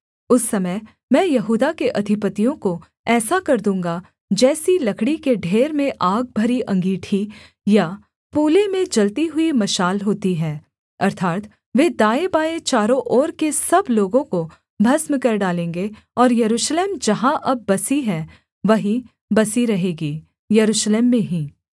उस समय मैं यहूदा के अधिपतियों को ऐसा कर दूँगा जैसी लकड़ी के ढेर में आग भरी अँगीठी या पूले में जलती हुई मशाल होती है अर्थात् वे दाएँबाएँ चारों ओर के सब लोगों को भस्म कर डालेंगे और यरूशलेम जहाँ अब बसी है वहीं बसी रहेगी यरूशलेम में ही